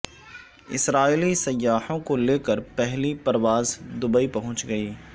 اسرائیلی سیاحوں کو لے کر پہلی پرواز دبئی پہنچ گئی